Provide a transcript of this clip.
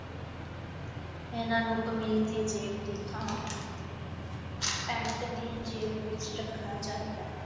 ਇਹਨਾਂ ਦੀ ਕਮੀਜ਼ ਦੀ ਜੇਬ ਦੀ ਥਾਂ ਪੈਂਟ ਦੀ ਜੇਬ ਵਿੱਚ ਰੱਖਣਾ ਚਾਹੀਦਾ ਹੈ।